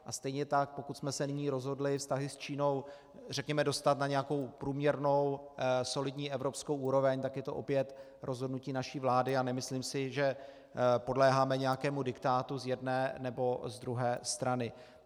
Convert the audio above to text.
A stejně tak pokud jsme se nyní rozhodli vztahy s Čínou, řekněme, dostat na nějakou průměrnou solidní evropskou úroveň, tak je to opět rozhodnutí naší vlády, a nemyslím si, že podléháme nějakému diktátu z jedné nebo z druhé strany.